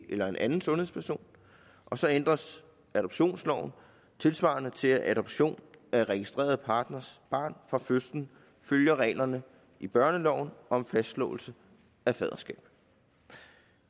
eller en anden sundhedsperson og så ændres adoptionsloven tilsvarende til at adoption af registreret partners barn fra fødslen følger reglerne i børneloven om fastslåelse af faderskab